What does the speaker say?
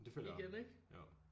Jamen det føler jeg jo